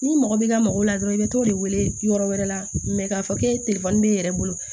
Ni mɔgɔ b'i ka mɔgɔ la dɔrɔn i bɛ t'o de wele yɔrɔ wɛrɛ la k'a fɔ k'e telefɔni b'e yɛrɛ bolo